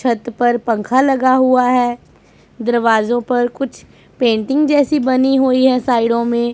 छत पर पंखा लगा हुआ है दरवाजो पर कुछ पेंटिंग जैसी बनी हुई है साइडों में--